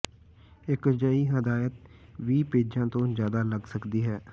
ਇੱਕ ਅਜਿਹੀ ਹਦਾਇਤ ਵੀਹ ਪੇਜਾਂ ਤੋਂ ਜਿਆਦਾ ਲੱਗ ਸਕਦੀ ਹੈ